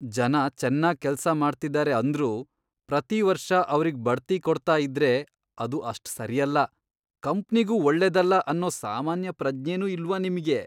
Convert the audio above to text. ಜನ ಚೆನ್ನಾಗ್ ಕೆಲ್ಸ ಮಾಡ್ತಿದಾರೆ ಅಂದ್ರೂ ಪ್ರತೀವರ್ಷ ಅವ್ರಿಗ್ ಬಡ್ತಿ ಕೊಡ್ತಾ ಇದ್ರೆ ಅದು ಅಷ್ಟ್ ಸರಿಯಲ್ಲ, ಕಂಪ್ನಿಗೂ ಒಳ್ಳೇದಲ್ಲ ಅನ್ನೋ ಸಾಮಾನ್ಯ ಪ್ರಜ್ಞೆನೂ ಇಲ್ವಾ ನಿಮ್ಗೆ?!